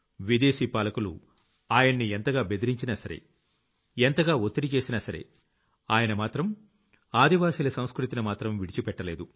విదేశీ పాలకులు ఆయన్ని ఎంతగా బెదిరించినా సరే ఎంతగా ఒత్తిడి చేసినా సరే ఆయన మాత్రం ఆదివాసీల సంస్కృతిని మాత్రం విడిచిపెట్టలేదు